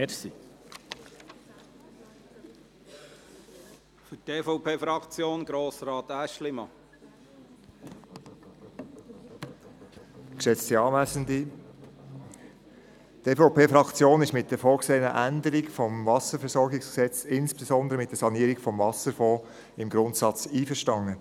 Die EVP-Fraktion ist mit der vorgesehenen Änderung des WVG, insbesondere mit der Sanierung des Wasserfonds, im Grundsatz einverstanden.